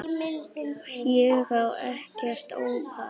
Ég á ekkert ópal